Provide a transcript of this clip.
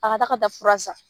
A ka da ka taa fura san.